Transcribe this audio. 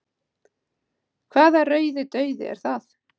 hvaða rauði dauði er það